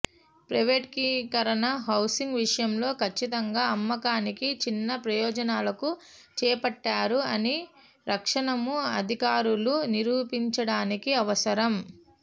ప్రైవేటీకరణ హౌసింగ్ విషయంలో కచ్చితంగా అమ్మకానికి చిన్న ప్రయోజనాలకు చేపట్టారు అని రక్షణము అధికారులు నిరూపించడానికి అవసరం